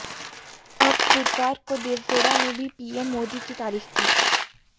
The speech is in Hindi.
अब बुधवार को देवगौड़ा ने भी पीएम मोदी की तारीफ की